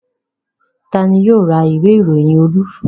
Ta ni yóò ra ìwé-ìròyìn Olú?